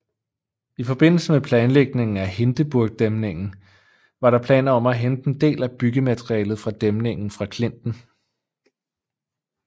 I forbindelse med planlægningen af Hindeburgdæmningen var der planer om at hente en del af byggematerialet til dæmningen fra klinten